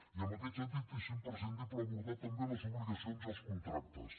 i en aquest sentit és imprescindible abordar també les obligacions i els contractes